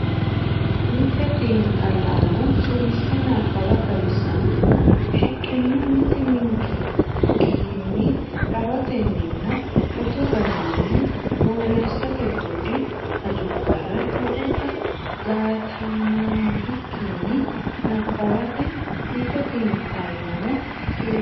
Mite xiinxallaano suwise nabbawa xawissannohu shiqqino mitii minikkinni rahotenninna shotu garinni borreessate budi hajubbara lowota jaatanaanbikkinni nabbawate Mite xiinxallaano suwise.